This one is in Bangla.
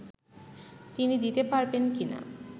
তিনি দিতে পারবেন কি না